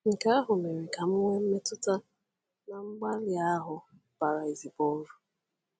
Nke ahụ mere ka m nwee mmetụta na mgbalị ahụ bara ezigbo uru.”